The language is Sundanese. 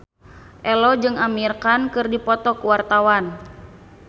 Ello jeung Amir Khan keur dipoto ku wartawan